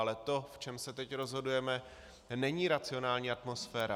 Ale to, v čem se teď rozhodujeme, není racionální atmosféra.